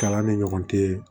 Kalan ni ɲɔgɔn cɛ